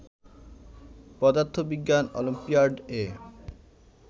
পদার্থবিজ্ঞান অলিম্পিয়াড এ